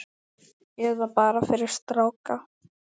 Eða bara fyrir stráka!